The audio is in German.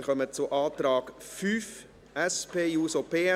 Wir kommen zum Antrag 5, SP-JUSO-PSA.